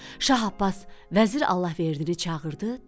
Şah Abbas vəzir Allahverdini çağırdı, dedi: